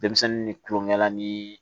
Denmisɛnnin ni tulonkɛ ni